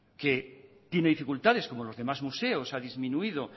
que tiene dificultades como los demás museos ha disminuido